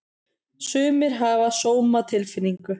Sumir hafa sómatilfinningu.